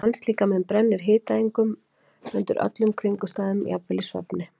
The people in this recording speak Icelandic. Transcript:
Mannslíkaminn brennir hitaeiningum undir öllum kringumstæðum, jafnvel í svefni.